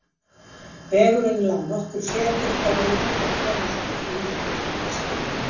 Vegurinn lá nokkur fet upp á við og þau komust um hríð út úr mistrinu.